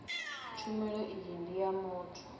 tshumelo iyi ndi ya muthu